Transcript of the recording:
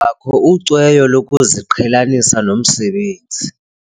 bakho ucweyo lokuziqhelanisa nomsebenzi.